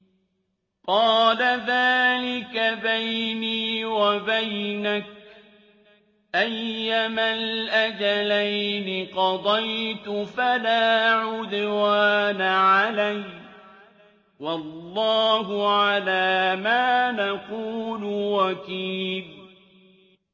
قَالَ ذَٰلِكَ بَيْنِي وَبَيْنَكَ ۖ أَيَّمَا الْأَجَلَيْنِ قَضَيْتُ فَلَا عُدْوَانَ عَلَيَّ ۖ وَاللَّهُ عَلَىٰ مَا نَقُولُ وَكِيلٌ